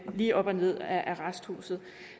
lige op og ned af arresthuset